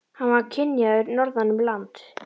Hann var kynjaður norðan um land.